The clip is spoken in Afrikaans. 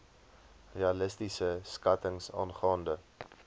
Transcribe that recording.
realistiese skattings aangaande